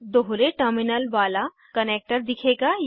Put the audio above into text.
दोहरे टर्मिनल वाला कनेक्टर दिखेगा